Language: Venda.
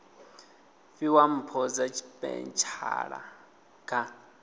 fhiwa mpho dza tshipeshala kha